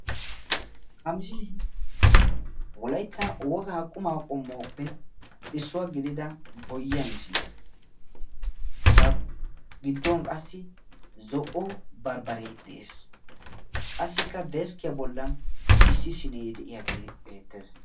Ha misilee wolayitta wogaa qumaa qommoppe issuwa gidida boyyiya misiliyaa. Eta giddon qassi zo'o barbbaree de'es. Qassikka deskkiya bollan issi sinee de'iyagee beettees.